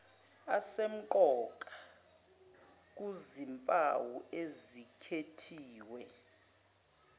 asemqoka kuzimpawu ezikhethiwe